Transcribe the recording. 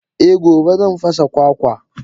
Eh gobe zan fasa kwakwa.